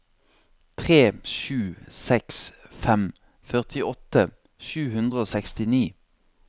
tre sju seks fem førtiåtte sju hundre og sekstini